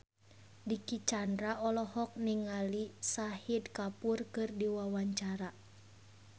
Dicky Chandra olohok ningali Shahid Kapoor keur diwawancara